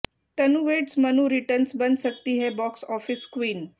तनु weds Manu returns बन सकती है बॉक्स ऑफिस क्वीन